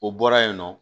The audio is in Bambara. O bɔra yen nɔ